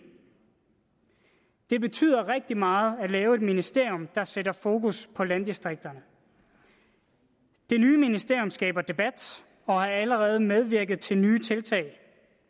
det betyder rigtig meget at lave et ministerium der sætter fokus på landdistrikterne det nye ministerium skaber debat og har allerede medvirket til nye tiltag